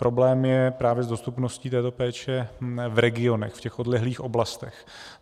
Problém je právě s dostupností této péče v regionech, v těch odlehlých oblastech.